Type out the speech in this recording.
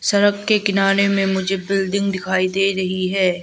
सड़क के किनारे में मुझे बिल्डिंग दिखाई दे रही है।